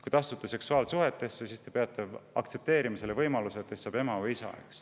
Kui te astute seksuaalsuhtesse, siis te peate võimalusega, et teist saab ema või isa.